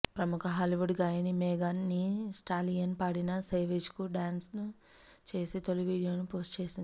ప్రముఖ హాలీవుడ్ గాయని Megan thee Stallion పాడిన సేవేజ్ కు డ్యాన్ చేసి తొలి వీడియోను పోస్టు చేసింది